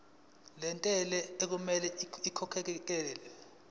lentela okumele ikhokhekhelwe